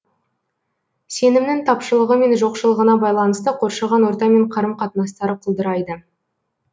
сенімнің тапшылығы мен жоқшылығына байланысты қоршаған ортамен қарым қатынастары құлдырайды